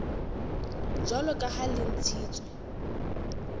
jwalo ka ha le ntshitswe